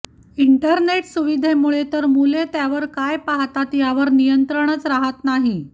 internet सुविधेमुळे तर मुले त्यावर काय पाहतात यावर नियंत्रणच राहत नाही